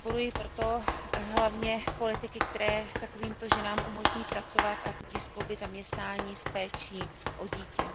Podporuji proto hlavně politiky, které takovýmto ženám umožní pracovat, a tudíž skloubit zaměstnání s péčí o dítě.